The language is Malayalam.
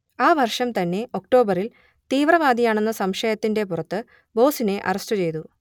ആ വർഷം തന്നെ ഒക്ടോബറിൽ തീവ്രവാദിയാണെന്ന സംശയത്തിന്റെ പുറത്ത് ബോസിനെ അറസ്റ്റ് ചെയ്തു